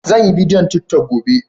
Sanyi bidiyon tiktok gobe.